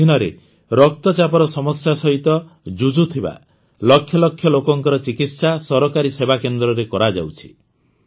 ଏହା ଅଧୀନରେ ରକ୍ତଚାପର ସମସ୍ୟା ସହିତ ଯୁଝୁଥିବା ଲକ୍ଷଲକ୍ଷ ଲୋକଙ୍କର ଚିକିତ୍ସା ସରକାରୀ ସେବା କେନ୍ଦ୍ରରେ କରାଯାଉଛି